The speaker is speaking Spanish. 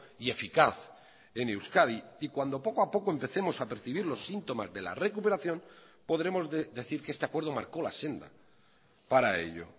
y eficaz en euskadi y cuando poco a poco empecemos a percibir los síntomas de la recuperación podremos decir que este acuerdo marcó la senda para ello